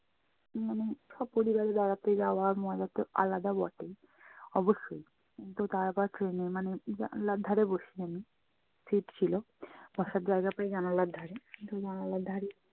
মানে স্বপরিবারে বেড়াতে যাওয়ার মজা তো আলাদা বটেই। অবশ্যই! কিন্তু তারপর train এ মানে জানলার ধারে বসি আমি। seat ছিল, বসার জায়গা পাই জানালার ধারে। কিন্তু জানালার ধারে